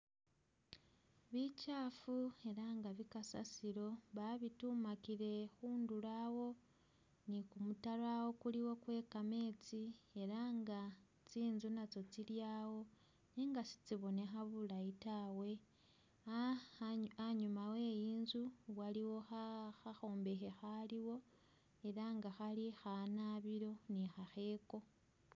Bichafu ela nga bikasasiro babitumakile khundulo awo ni kumutaro awo kuliwo khwekametsi ela nga tsi'nzu natso tsilyawo nenga sitsibonekha bulayi tawe aa a a'nyuma we'inzu waliwo khakhombekhe khaliwo ela nga khali khanabilo ni khakheko